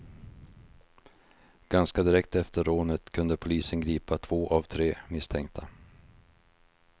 Ganska direkt efter rånet kunde polisen gripa två av tre misstänka.